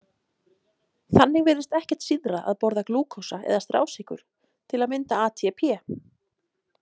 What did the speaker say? Þannig virðist ekkert síðra að borða glúkósa eða strásykur til að mynda ATP.